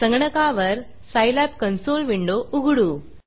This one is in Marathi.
संगणकावर सायलॅब कन्सोल विंडो उघडू